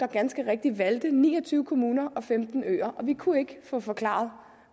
ganske rigtigt valgte ni og tyve kommuner og femten øer og vi kunne ikke få forklaret